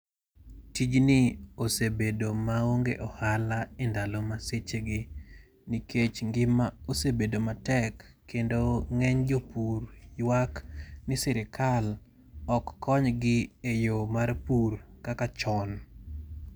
Tijni osebedo maonge ohala e ndalo ma sechegi nikech ngima osebedo matek. Kendo ng'eny jopur ywak ni sirikal ok kony gi e yo mar pur kaka chon.